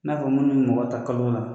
N'a ko munnu bɛ mɔgɔ ta kalo la